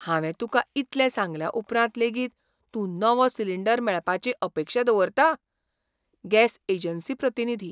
हांवें तुकां इतलें सांगल्या उपरांत लेगीत तूं नवो सिलिंडर मेळपाची अपेक्षा दवरता? गॅस एजन्सी प्रतिनिधी